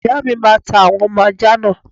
Ìyáàmi máa ta àwọn ọmọ ajá náà.